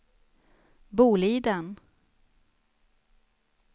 Boliden